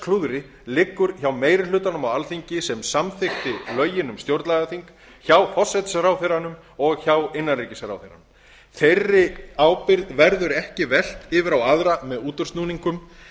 dómadagsklúðri liggur hjá meiri hlutanum á alþingi sem samþykkti lögin um stjórnlagaþing hjá forsætisráðherranum og hjá innanríkisráðherranum þeirri ábyrgð verður ekki velt yfir á aðra með útúrsnúningum